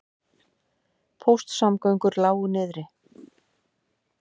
Póstsamgöngur lágu niðri